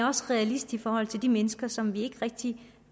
også realist i forhold til de mennesker som vi ikke rigtig